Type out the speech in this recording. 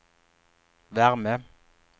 värme